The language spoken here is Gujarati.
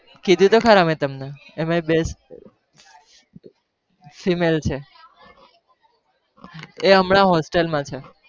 કીધું તો ખરા મેં તમને એમાં best famale છે એ હમણાં hostel માં છે